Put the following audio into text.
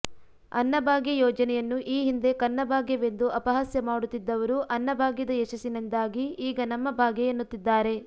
ಅನ್ನಭಾಗ್ಯ ಯೋಜನೆಯನ್ನು ಈ ಹಿಂದೆ ಕನ್ನಭಾಗ್ಯವೆಂದು ಅಪಹಾಸ್ಯ ಮಾಡುತ್ತಿದ್ದವರು ಅನ್ನಭಾಗ್ಯದ ಯಶಸ್ಸಿನಿಂದಾಗಿ ಈಗ ನಮ್ಮ ಭಾಗ್ಯ ಎನ್ನುತಿದ್ದಾರೆ